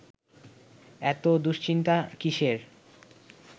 এত দুশ্চিন্তা কিসের